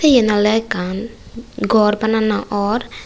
yen oley ekkan gor banana or.